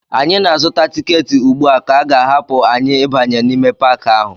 Anyị na-azụta tiketi ugbu a ka a ga-ahapụ anyị ịbanye n'ime Paakị ahụ